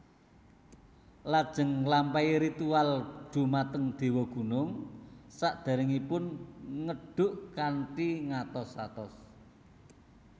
Lajeng nglampahi ritual dhumateng dewa gunung sadèrèngipun ngedhuk kanthi ngatos atos